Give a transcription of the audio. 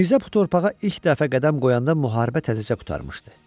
Mirzə bu torpağa ilk dəfə qədəm qoyanda müharibə təzəcə qurtarmışdı.